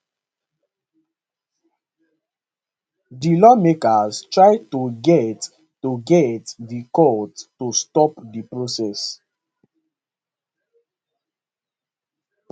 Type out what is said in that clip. di lawmaker try to get to get di court to stop di process